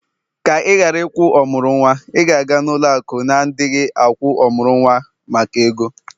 ka ị ghara ịkwụ ọmụrụ nwa, ị ga-aga ụlọ akụ na-adighị agwu ọmụrụ nwa maka ego